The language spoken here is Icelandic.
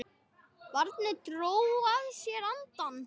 Barnið dró að sér andann.